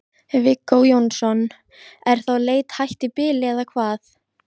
Viggó Jónsson: Er þá leit hætt í bili eða hvað?